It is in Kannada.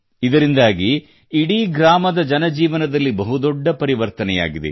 ಇದರಿಂದಾಗಿ ಇಡೀ ಗ್ರಾಮದ ಜನಜೀವನದಲ್ಲಿ ಬಹು ದೊಡ್ಡ ಪರಿವರ್ತನೆಯಾಗಿದೆ